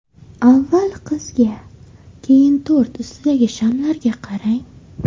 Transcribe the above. Avval qizga, keyin tort ustida shamlarga qarang.